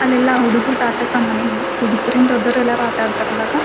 ಅಲ್ಲೆಲ್ಲ ಹುಡುಗ್ರು ಆಟ ಸಾಮಾನು ಹುಡುಗುರೆನ ದೊಡ್ಡೋರು ಎಲ್ಲ ಆಟ ಆಡ್ತಾರೆ ಇವಾಗ--